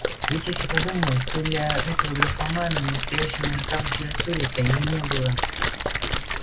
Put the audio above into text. ведь если подумать то до этого графомана настоящего мужика в литературе-то и не было